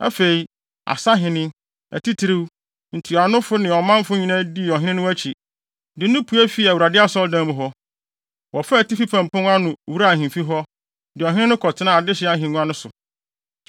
Afei, asahene, atitiriw, ntuanofo ne ɔmanfo nyinaa dii ɔhene no akyi, de no pue fii Awurade Asɔredan mu hɔ. Wɔfaa atifi fam pon no ano, wuraa ahemfi hɔ, de ɔhene no kɔtenaa adehye ahengua no so.